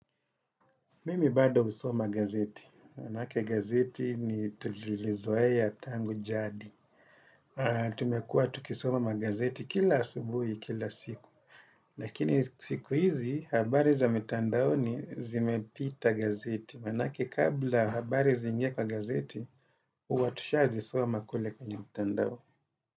Mimi bada husoma gazeti, maanake gazeti ni tulilizoea tangu jadi. Tumekuwa tukisoma magazeti kila asubuhi, kila siku. Lakini siku hizi, habari za mitandaoni zimepita gazeti. Maanake kabla habari ziingie kwa gazeti, huwa tushazisoma kule kwenye mitandao.